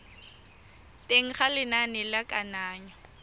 teng ga lenane la kananyo